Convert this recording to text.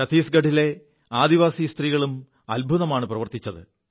ഛത്തീസ്ഗഢിലെ ആദിവാസി സ്ത്രീകളും അത്ഭുതമാണു പ്രവർത്തിച്ചത്